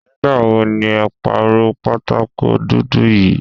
Nígbà wo ni ẹ pàrọ̀ pátákó dúdú yí?